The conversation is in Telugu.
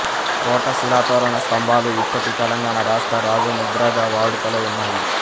కోట శిలాతోరణ స్తంభాలు ఇప్పటి తెలంగాణ రాష్ట్ర రాజముద్రగా వాడుకలో ఉన్నాయి